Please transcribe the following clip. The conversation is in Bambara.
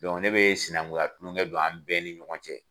ne bɛ sinankunya tulonkɛ don an bɛɛ ni ɲɔgɔn cɛ.